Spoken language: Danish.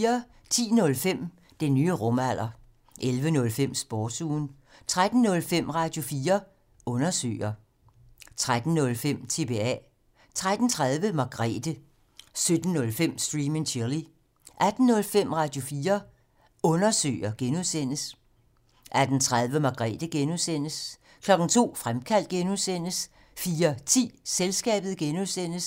10:05: Den nye rumalder 11:05: Sportsugen 13:05: Radio4 Undersøger 13:05: TBA 13:30: Margrethe 17:05: Stream and Chill 18:05: Radio4 Undersøger (G) 18:30: Margrethe (G) 02:00: Fremkaldt (G) 04:10: Selskabet (G)